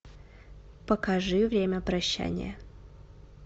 покажи время прощания